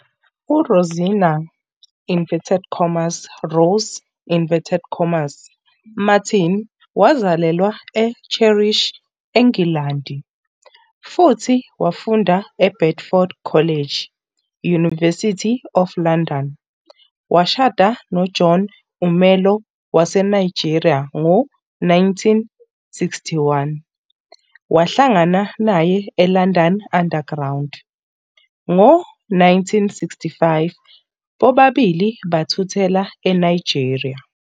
URosina "Rose" Martin wazalelwa eCheshire, eNgilandi, futhi wafunda eBedford College, University of London. Washada noJohn Umelo waseNigeria ngo-1961, wahlangana naye eLondon Underground. Ngo-1965, bobabili bathuthela eNigeria.